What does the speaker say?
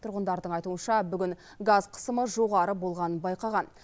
тұрғындардың айтуынша бүгін газ қысымы жоғары болғанын байқаған